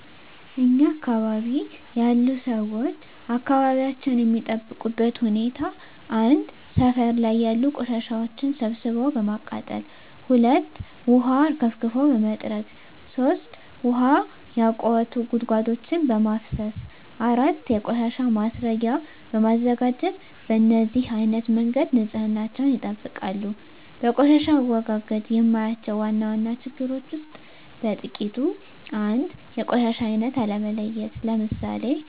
እኛ አካባቢ ያሉ ሠዎች አካባቢያቸውን የሚጠብቁበት ሁኔታ 1. ሠፈር ላይ ያሉ ቆሻሻዎችን ሠብስቦ በማቃጠል 2. ውሀ አርከፍክፎ በመጥረግ 3. ውሀ ያቋቱ ጉድጓዶችን በማፋሠስ 4. የቆሻሻ ማስረጊያ በማዘጋጀት በነዚህ አይነት መንገድ ንፅህናቸውን ይጠብቃሉ። በቆሻሻ አወጋገድ የማያቸው ዋና ዋና ችግሮች ውስጥ በጥቂቱ 1. የቆሻሻ አይነት አለመለየት ለምሣሌ፦